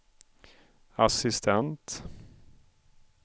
assistent